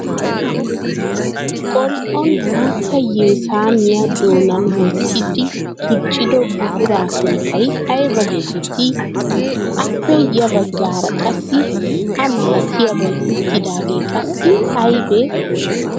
Qol"on guutta yeesaamiya doonan wottidi tuccido buquraa sunttay aybee ereetii? Appe ya baggaara qassi ha A malatiyabay uttidaagee qassi aybee?